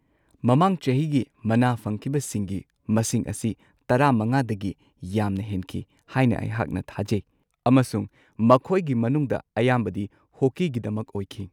ꯃꯃꯥꯡ ꯆꯍꯤꯒꯤ ꯃꯅꯥ ꯐꯪꯈꯤꯕꯁꯤꯡꯒꯤ ꯃꯁꯤꯡ ꯑꯁꯤ ꯱꯵ꯗꯒꯤ ꯌꯥꯝꯅ ꯍꯦꯟꯈꯤ ꯍꯥꯏꯅ ꯑꯩꯍꯥꯛꯅ ꯊꯥꯖꯩ ꯑꯃꯁꯨꯡ ꯃꯈꯣꯏꯒꯤ ꯃꯅꯨꯡꯗ ꯑꯌꯥꯝꯕꯗꯤ ꯍꯣꯀꯤꯒꯤꯗꯃꯛ ꯑꯣꯏꯈꯤ꯫